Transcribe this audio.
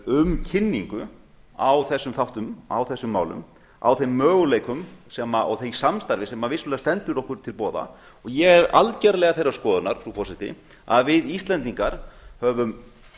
um kynningu á þessum þáttum á þessum málum á þeim möguleikum og því samstarfi sem vissulega stendur okkur til boða ég er algjörlega þeirrar skoðunar frú forseti að við íslendingar höfum